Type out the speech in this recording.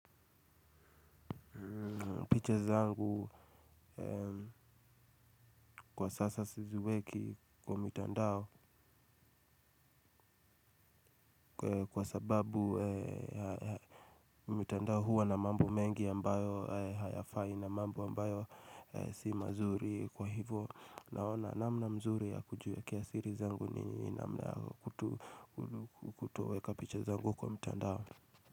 Picha zangu kwa sasa siziweki kwa mitandao kwa sababu mitandao huwa na mambo mengi ambayo hayafai na mambo ambayo si mazuri. Kwa hivyo naona namna mzuri ya kujiwekea siri zangu ni namna yangu tu kutoweka picha zangu kwa mitandao.